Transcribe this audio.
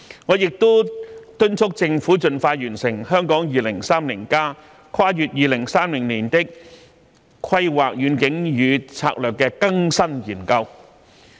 我亦敦促政府盡快完成《香港 2030+： 跨越2030年的規劃遠景與策略》的更新研究。